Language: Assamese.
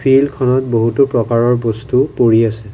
ফিল্ড খনত বহুতো প্ৰকাৰৰ বস্তু পৰি আছে।